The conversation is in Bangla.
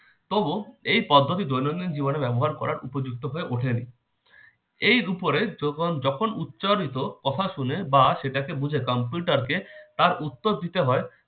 তবু এই পদ্ধতি দৈনন্দিন জীবনে ব্যবহার করার উপযুক্ত হয়ে ওঠেনি। এর উপরে যখন যখন উচ্চারিত কথা শুনে বা সেটাকে বুঝে computer কে তার উত্তর দিতে হয়